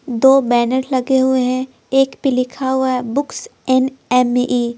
दो बैनर लगे हुए हैं एक पे लिखा हुआ हैबुक्स एंड एम ई --